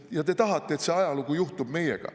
Ja te tahate, et see ajalugu juhtub meiega.